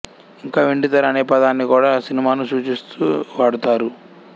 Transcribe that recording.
ఇంకా వెండితెర అనే పదాన్ని కూడా సినిమాను సూచిస్తూ వాడుతారు